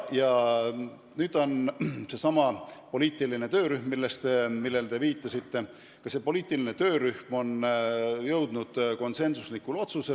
Seesama poliitiline töörühm, millele te viitasite, on jõudnud konsensuslikule otsusele.